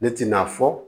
Ne tɛna fɔ